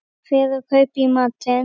Fer og kaupi í matinn.